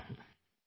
phone कॉल1